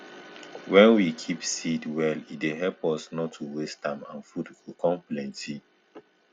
wen we keep seed well e dey help us nor to waste am and food go com plenty